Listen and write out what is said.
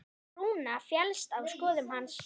Rúna féllst á skoðun hans.